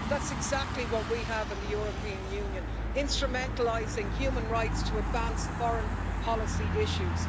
But that's exactly what we have in the European Union instrumentalising human rights to advance foreign policy issues